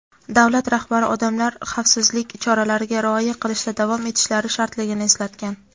davlat rahbari odamlar xavfsizlik choralariga rioya qilishda davom etishlari shartligini eslatgan.